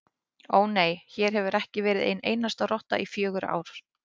Ó, nei, hér hefur ekki verið ein einasta rotta í fjögur ár